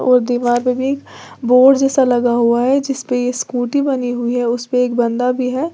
और दीवार पे भी बोर्ड जैसा लगा हुआ है जिसपे ये स्कूटी बनी हुई है उसपे एक बंदा भी है।